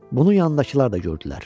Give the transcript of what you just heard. Bunu yanındakılar da gördülər.